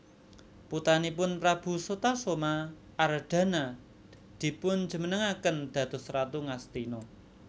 Putranipun prabu Sutasoma Ardhana dipunjumenengaken dados ratu Ngastina